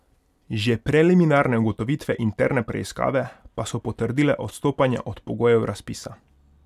Že preliminarne ugotovitve interne preiskave pa so potrdile odstopanja od pogojev razpisa.